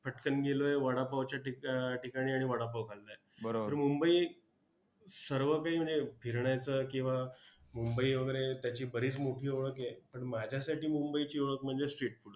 पटकन गेलोय वडापावच्या ठिकाणी आणि वडापाव खाल्लाय तर मुंबई सर्व काही म्हणजे फिरण्याचं किंवा मुंबई वगैरे त्याची बरीच मोठी ओळख आहे पण माझ्यासाठी मुंबईची ओळख म्हणजे street food